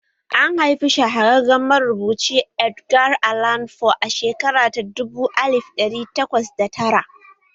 An haifi shahararren marubuci Edgar Allan Poe a shekara ta dubu alif dari takwas da tara